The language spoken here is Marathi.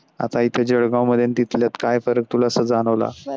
आता इथ जळगाव मध्ये आन तीतल्यात काय फरक तूला अस जाणवला.